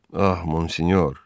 Ah Monsinyor.